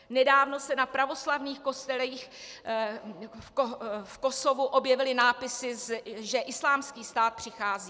Nedávno se na pravoslavných kostelích v Kosovu objevily nápisy, že Islámský stát přichází.